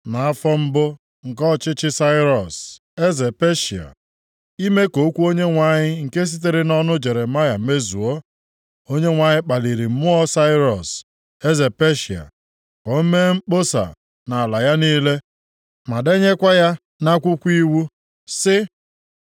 Nʼafọ mbụ nke ọchịchị Sairọs, eze Peshịa, ime ka okwu Onyenwe anyị nke sitere nʼọnụ Jeremaya mezuo, Onyenwe anyị kpaliri mmụọ Sairọs, eze Peshịa ka o mee mkpọsa nʼalaeze ya niile, ma denyekwa ya nʼakwụkwọ iwu, sị,